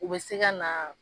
U be se ka na